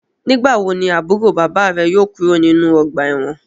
Nigbawo ni aburo baba re yóò kuro ninu ọgba ẹ́wọ̀n?